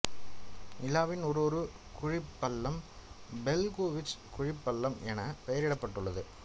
நிலாவின் ஒரு ஒரு குழிப்பள்ளம் பெல்கோவிச் குழிப்பள்ளம் என பெயரிடப்பட்டுள்ளது